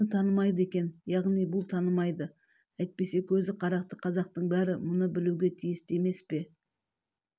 мұны танымайды екен яғни бұл танымайды әйтпесе көз қарақты қазақтың бәрі мұны білуге тиісті емес пе